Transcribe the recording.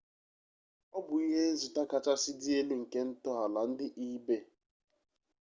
ọ bụ ihenzụta kachasị dị elu nke ntọala ndị ebay